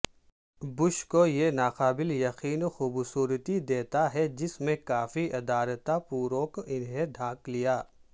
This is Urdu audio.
بش کو یہ ناقابل یقین خوبصورتی دیتا ہے جس میں کافی ادارتاپوروک انہیں ڈھانک لیا